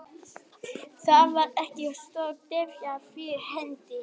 Þar var ekkert stórt eldfjall fyrir hendi.